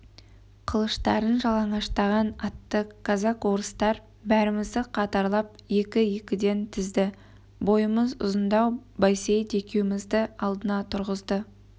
қылыштарын жалаңаштаған атты казак-орыстар бәрімізді қатарлап екі-екіден тізді бойымыз ұзындау байсейіт екеумізді алдына тұрғызды